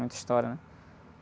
Muita história, né?